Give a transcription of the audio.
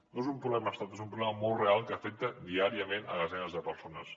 no és un problema orquestrat és un problema molt real que afecta diàriament desenes de persones